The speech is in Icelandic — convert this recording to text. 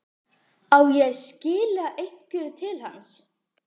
Á ég að skila einhverju til hans?